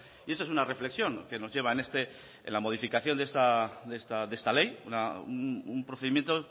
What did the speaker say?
y eso es una reflexión que nos lleva la modificación de esta ley un procedimiento